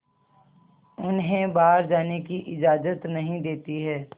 उन्हें बाहर जाने की इजाज़त नहीं देती है